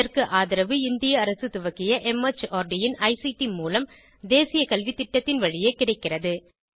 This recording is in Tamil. இதற்கு ஆதரவு இந்திய அரசு துவக்கிய மார்ட் இன் ஐசிடி மூலம் தேசிய கல்வித்திட்டத்தின் வழியே கிடைக்கிறது